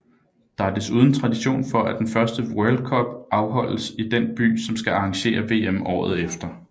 Der er desuden tradition for at den første World Cup holdes i den by som skal arrangere VM året efter